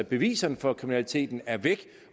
beviserne for kriminaliteten er væk